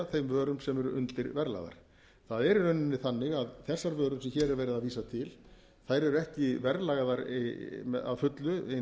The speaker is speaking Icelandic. vörum sem eru undirverðlagðar það er í rauninni þannig að þessar vörur sem hér er verið að vísa til eru ekki verðlagðar að fullu